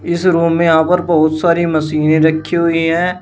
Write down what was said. इस रूम में यहां पर बहुत सारी मशीने रखी हुई है।